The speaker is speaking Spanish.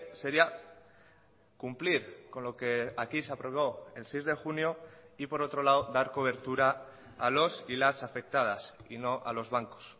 sería cumplir con lo que aquí se aprobó el seis de junio y por otro lado dar cobertura a los y las afectadas y no a los bancos